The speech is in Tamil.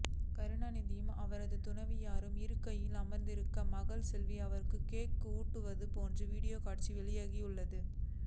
கருணாநிதியும் அவரது துணைவியாரும் இருக்கையில் அமர்ந்திருக்க மகள் செல்வி அவர்களுக்கு கேக் ஊட்டுவது போன்ற வீடியோ காட்சி வெளியாகியுள்ளது